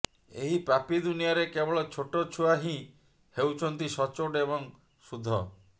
ଏହି ପାପୀ ଦୁନିଆରେ କେବଳ ଛୋଟ ଛୁଆ ହି ହେଉଛନ୍ତି ସଚୋଟ ଏବଂ ସୁଧ